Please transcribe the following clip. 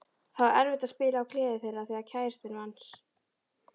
Það var erfitt að spila af gleði þegar kærastinn manns.